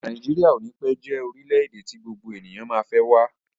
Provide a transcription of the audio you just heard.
Nàíjíríà o ní pẹ́ jẹ́ orílẹ̀-èdè tí gbogbo ènìyàn má fẹ́ wá.